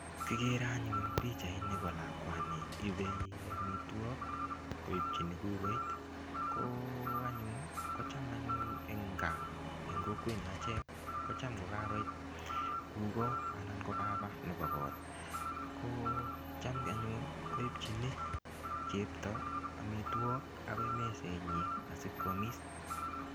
Kigere anyun pichait nebo lakwani ibei amitwog koipchini kugoit kocham anyun eng kaa eng kokwenyo achek kocham ko kakoit kugoo anan ko papa nebo kot. Ko cham anyun koipchini chepto amitwog agoi mesenyi asikwamis.